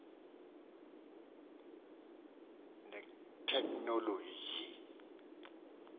netekhnoloji